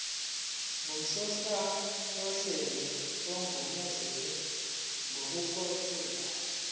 ngusonhlalonhle ogunyaziwe ngokomthetho